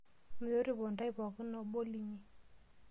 Metoripo ntae enkai pooki obo linyi.